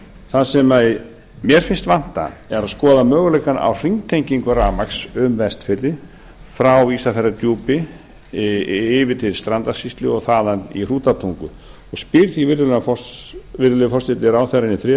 það sem mér finnst vanta er að skoða möguleikana á hringtengingu rafmagns um vestfirði frá ísafjarðardjúpi yfir til strandasýslu og þaðan í hrútatungu og spyr því virðulegi forseti ráðherrann í þriðja